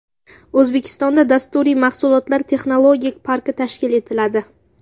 O‘zbekistonda Dasturiy mahsulotlar texnologik parki tashkil etiladi.